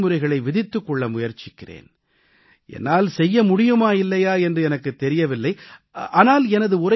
நான் எனக்கென விதிமுறைகளை விதித்துக் கொள்ள முயற்சிக்கிறேன் என்னால் செய்ய முடியுமா இல்லையா என்று எனக்குத் தெரியவில்லை